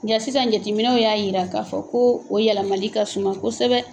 Nga sisan jateminɛw y'a yira k'a fɔ ko o yɛlɛmali ka suma kosɛbɛ